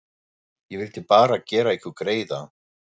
Ég vildi bara gera ykkur greiða.